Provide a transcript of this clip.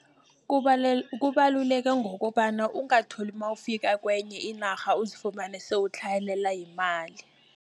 kubaluleke ngokobana ungatholi nawufika kenye inarha, uzifumane sewutlhayelelwa yimali.